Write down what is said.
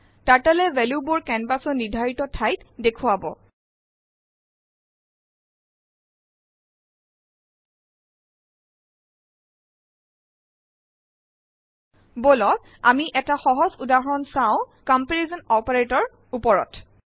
Turtleএ ভেলো বোৰ কেনভাচ ৰ নিৰ্ধাৰিত ঠাইত দেখুৱাব । বলক আমি ১টা সহজ উদাহৰণ চাওcomparison operatorৰ ওপৰত